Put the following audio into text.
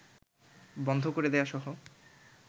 বন্ধ করে দেয়াসহ